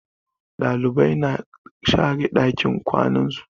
Ɗalibai na share ɗakin kwanan su.